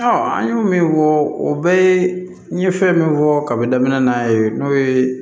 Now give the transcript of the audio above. an y'o min fɔ o bɛɛ ye n ye fɛn min fɔ kaba daminɛ n'a ye n'o ye